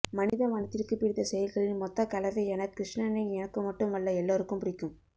மனித மனத்திற்கு பிடித்த செயல்களின் மொத்தக் கலவையான கிருஷ்ணனை எனக்கு மட்டுமல்ல எல்லோருக்கும் பிடிக்கும்